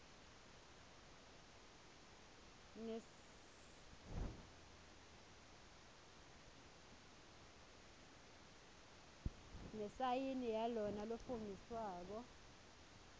nesayini yalona lofungisako